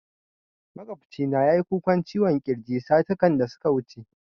Maƙwabcina ya yi kukan ciwon kirji satikan da suka wuce